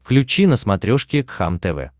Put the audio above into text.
включи на смотрешке кхлм тв